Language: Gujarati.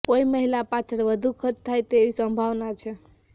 કોઈ મહિલા પાછળ વધુ ખર્ચ થાય તેવી સંભાવના છે